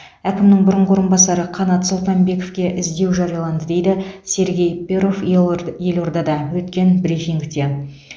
әкімінің бұрынғы орынбасары қанат сұлтанбековке іздеу жарияланды дейді сергей перов елордада өткен брифингте